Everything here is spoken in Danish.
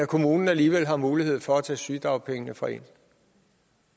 kommunen alligevel har mulighed for at tage sygedagpengene fra en